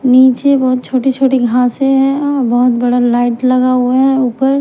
नीचे बहुत छोटी-छोटी घासे हैं और बहुत बड़ा लाइट लगा हुआ है ऊपर--